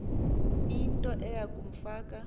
into eya kumfaka